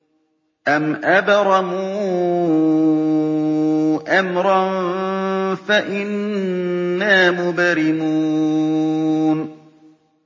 أَمْ أَبْرَمُوا أَمْرًا فَإِنَّا مُبْرِمُونَ